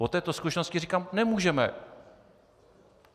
Po této zkušenosti říkám: nemůžeme!